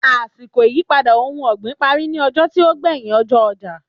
Àsìkò ìyípadà ohun ọ̀gbìn parí ní ọjọ́ tí ó gbéyìn ọjọ́ ọjà